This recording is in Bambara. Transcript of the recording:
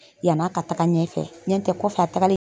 yan'a ka taga ɲɛnfɛ ɲɛntɛ kɔfɛ a tagalen